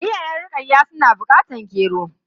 Iyayen Rukayya suna bukatar gero.